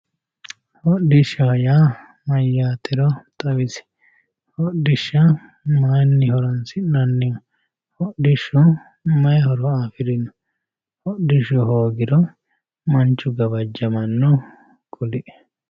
hodhishshaho yaa mayyatero xawisi hodhishsha mayiinni horonsi'nanniho hodhishshu mayi horo afirino hodhishshu hoogiro manchu gawajjamanno kulie?